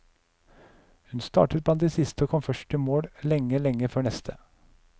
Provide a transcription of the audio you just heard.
Hun startet blant de siste og kom først i mål, lenge, lenge før neste.